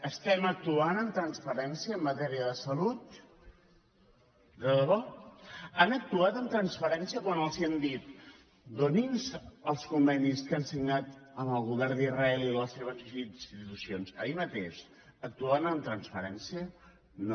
estem actuant amb transparència en matèria de salut de debò han actuat amb transparència quan els hem dit donin nos els convenis que han signat amb el govern d’israel i les seves institucions ahir mateix actuaven amb transparència no